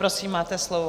Prosím, máte slovo.